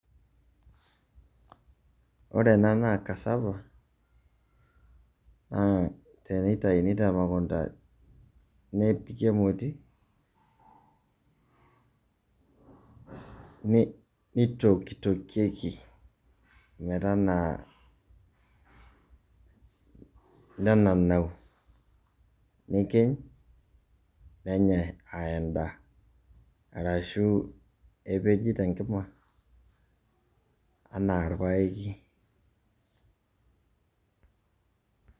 Ore ena naa cassava, tenitau temukunta, nepiki emoti, kitokitokieki metaanaa, nenanau. Nikiny, nenyai ah endaa. Arashu nepiji tenkima, enaa arpaeki.